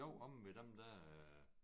Jo omme ved dem der